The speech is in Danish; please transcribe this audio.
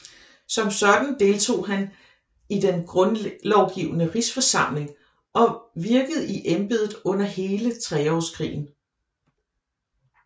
Som sådan deltog han i Den Grundlovgivende Rigsforsamling og virkede i embedet under hele Treårskrigen